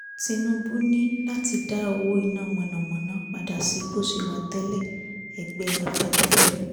tinúbú ní láti dá owó iná mọ̀nàmọ́ná padà sí bó ṣe wà tẹ́lẹ̀ ẹgbẹ́ afẹ́nifẹ́re